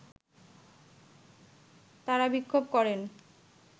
তারা বিক্ষোভ করেন